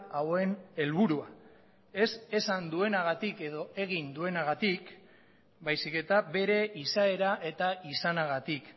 hauen helburua ez esan duenagatik edo egin duenagatik baizik eta bere izaera eta izanagatik